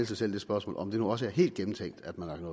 sig selv det spørgsmål om det nu også er helt gennemtænkt at man